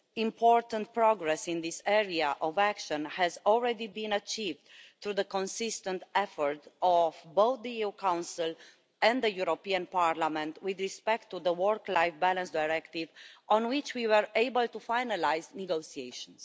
Important progress in this area of action has already been achieved through the consistent efforts of both the Council and Parliament in relation to the work life balance directive, on which we have been able to finalise negotiations.